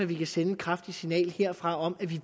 vi kan sende et kraftigt signal herfra om at vi